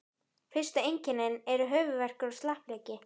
Fyrstu einkennin eru höfuðverkur og slappleiki.